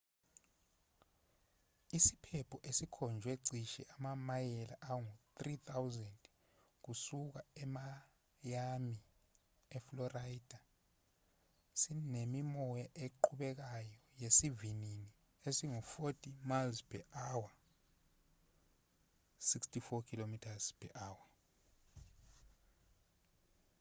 isiphepho esikhonjwe cishe amamayela angu-3,000 kusuka emiami eflorida sinemimoya eqhubekayo yesivinini esingu-40 mph 64 kph